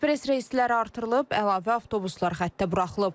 Ekspress reyslər artırılıb, əlavə avtobuslar xəttə buraxılıb.